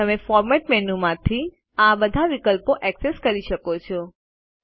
તમે format menu માંથી આ બધા વિકલ્પો ઍક્સેસ કરી શકો છો